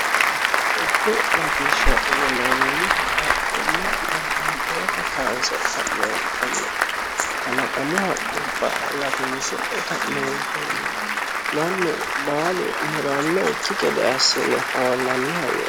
dubbu latishsha yinannihu haqqubba babbaxitewota kaanse ka'neentinni kalaqamu haqqubba latinse ka'neentinni mannu baalu murannokki gede assine hoollanni hayyooti.